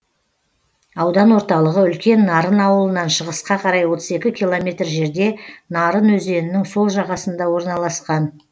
аудан орталығы үлкен нарын ауылынан шығысқа қарай отыз екі километр жерде нарын өзенінің сол жағасында орналасқан